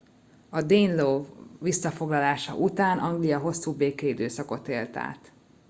a danelaw visszafoglalása után anglia hosszú békeidőszakot élt át